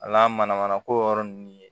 A n'a mana mana ko yɔrɔ ninnu ye